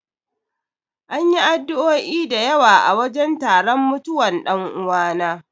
An yi addu'o'i da yawa a wajen taron mutuwan dan'uwana.